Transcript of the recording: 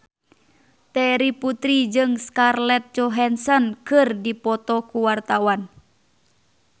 Terry Putri jeung Scarlett Johansson keur dipoto ku wartawan